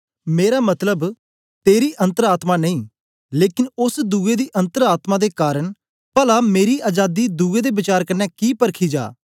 मेरा मतलब तेरी अन्तर आत्मा नेई लेकन ओस दुए दी अन्तर आत्मा दे कारन पला मेरी अजादी दुए दे वचार कन्ने कि परखी जा